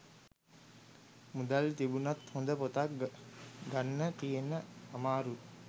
මුදල් තිබුනත් හොඳ පොතක් ගන්න තියෙන අමාරුව